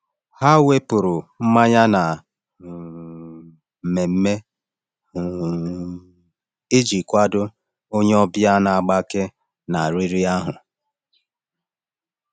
Ha wepụrụ mmanya na um mmemme um iji kwado onye ọbịa na-agbake na riri ahụ.